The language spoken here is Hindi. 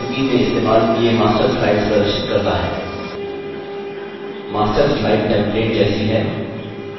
field इस प्रस्तुति में इस्तेमाल किये master slides प्रदर्शित करता है